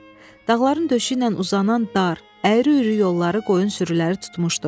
Dağların döşü ilə uzanan dar, əyri-üyrü yolları qoyun sürüləri tutmuşdu.